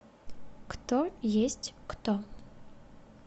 кто есть кто